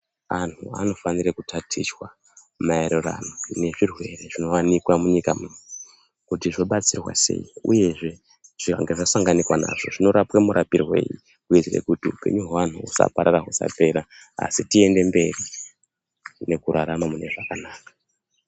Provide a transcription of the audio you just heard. Anhu anofanire kutatichwa maererano nezvirwere zvinowanikwa munyika muno kuti zvobatsirwa sei uyezvee vakazosangana nazvo vanorapwa murapirwei kuitire kuti upenyu hweanhu husaparara husapera asi tiende mberi ngekurarama mune zvakanaka.